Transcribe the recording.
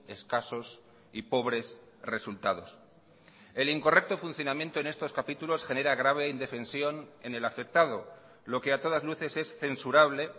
escasos y pobres resultados el incorrecto funcionamiento en estos capítulos genera grave indefensión en el afectado lo que a todas luces es censurable